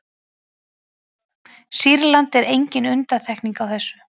sýrland er engin undantekning á þessu